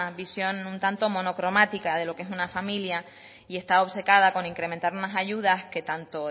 visión un tanto monocromática de lo que es una familia y está obcecada con incrementar unas ayudas que tanto